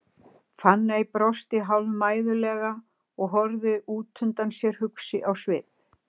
Fanný brosti hálfmæðulega og horfði út undan sér, hugsi á svip.